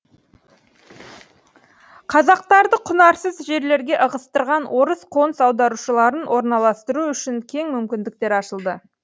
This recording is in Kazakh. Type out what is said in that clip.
қазақтарды құнарсыз жерлерге ығыстырған орыс қоныс аударушыларын орналастыру үшін кең мүмкіндіктер ашылды